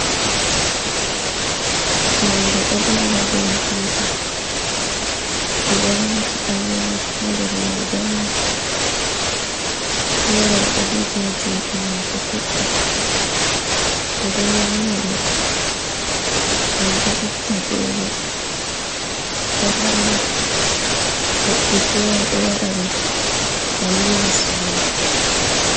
Faande ɗo ɓili haa dow hiite, ɓe ɗo waati Ɗanwaake haa nder may dolla, feere o ɗo jogi haa juuɗe maako toɓɓa ɓe ɗo nyaama ɗum, ɗum ɗo itta veelo ɗo harna, woɓɓe feere ɗo waɗa ɗum daliila suuno.